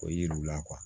O ye yiriw la